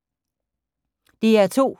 DR2